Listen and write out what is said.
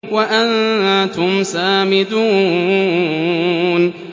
وَأَنتُمْ سَامِدُونَ